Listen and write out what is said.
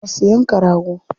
Za su yanka rago.